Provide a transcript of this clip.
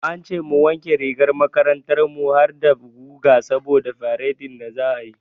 An ce mu wanke rigar makarantar mu harda guga saboda faredin da za'a yi.